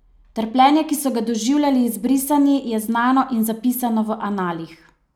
Trpljenje, ki so ga doživljali izbrisani, je znano in zapisano v analih.